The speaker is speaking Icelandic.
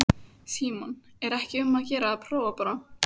Símon: Er ekki um að gera að prófa bara?